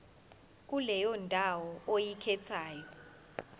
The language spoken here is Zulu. kuleyo ndawo oyikhethayo